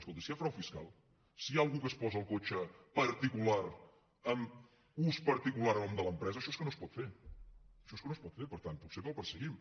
escolti si hi ha frau fiscal si hi ha algú que es posa el cotxe particular amb ús particular a nom de l’empresa això és que no es pot fer això és que no es pot fer per tant potser que el perseguim